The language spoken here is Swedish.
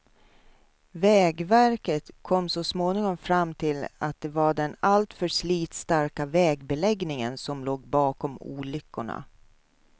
Vägverket kom så småningom fram till att det var den alltför slitstarka vägbeläggningen som låg bakom olyckorna.